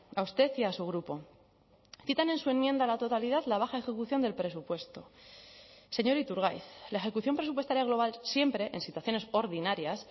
a usted y a su grupo citan en su enmienda a la totalidad la baja ejecución del presupuesto señor iturgaiz la ejecución presupuestaria global siempre en situaciones ordinarias